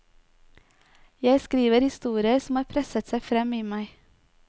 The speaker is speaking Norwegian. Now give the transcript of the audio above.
Jeg skriver historier som har presset seg frem i meg.